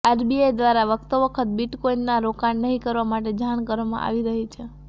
RBI દ્વારા વખતો વખત બિટકોઈનમાં રોકાણ નહીં કરવા માટે જાણ કરવામાં આવી રહી છે